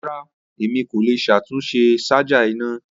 Rara, Emi ko le ṣatunṣe ṣaja ina.